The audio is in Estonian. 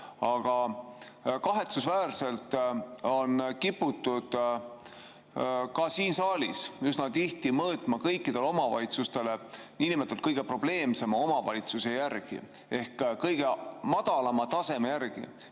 Aga kahetsusväärselt on kiputud ka siin saalis üsna tihti mõõtma kõikidele omavalitsustele niinimetatud kõige probleemsema omavalitsuse järgi ehk kõige madalama taseme järgi.